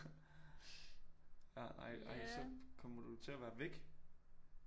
Ja ej ej så kommer du til at være væk